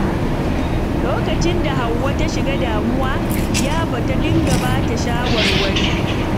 A lokacin da Hauwa ta shiga damuwa, Iyabo ta dinga ba ta shawarwari.